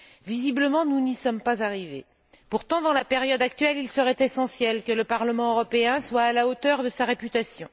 Visiblement, nous n'y sommes pas arrivés. Pourtant, dans la période actuelle, il serait essentiel que le Parlement européen soit à la hauteur de sa réputation.